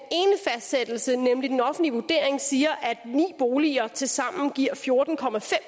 fastsættelse nemlig den offentlige vurdering siger at ni boliger tilsammen giver fjorten